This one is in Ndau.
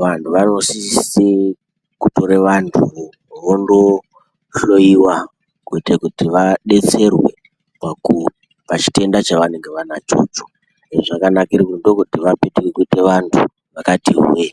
vantu vanosise kuyore vantu vo vondohloiwa kuite kuti vadetserwe paku pachitenda chavanenge vanacho icho izvi zvakabakire paku ndokuti vapetuke kuite vantu vakati hwe.